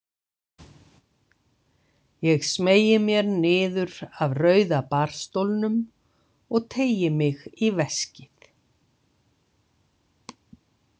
Ég smeygi mér niður af rauða barstólnum og teygi mig í veskið.